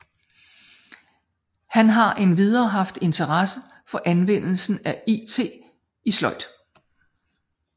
Han har endvidere haft interesse for anvendelsen af it i sløjd